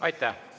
Aitäh!